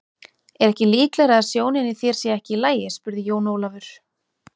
Er ekki líklegara að sjónin í þér sé ekki í lagi spurði Jón Ólafur.